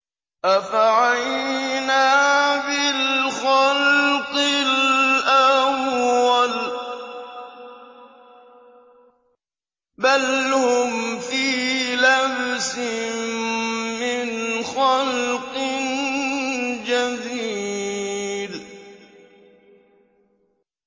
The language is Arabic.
أَفَعَيِينَا بِالْخَلْقِ الْأَوَّلِ ۚ بَلْ هُمْ فِي لَبْسٍ مِّنْ خَلْقٍ جَدِيدٍ